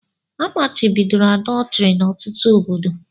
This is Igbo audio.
Amachibidoro àdọtrị n'ọtụtụ obodo